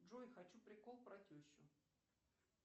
джой хочу прикол про тещу